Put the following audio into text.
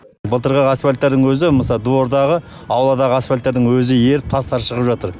былтырғы асфальттардың өзі мысалы двордағы ауладағы асфальттардың өзі еріп тастары шығып жатыр